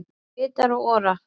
Rita Ora